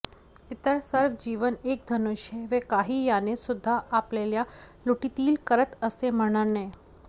इतर सर्व जीवन एक धनुष्य व काही यानेसुद्धा आपल्या लुटीतील करत असे म्हणणे